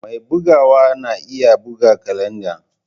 Mai bugawa na iya buga kalanda.